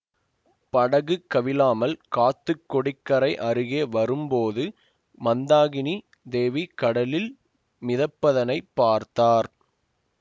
படகு கவிழாமல் காத்து கொடிக்கரை அருகே வரும் போது மந்தாகினி தேவி கடலில் மிதப்பதனைப் பார்த்தார்